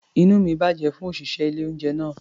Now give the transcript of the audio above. Inú mi bàjẹ́ fún òṣìṣẹ́ ilé-oúnjẹ náà.